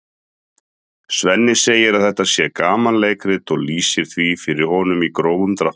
Svenni segir að þetta sé gamanleikrit og lýsir því fyrir honum í grófum dráttum.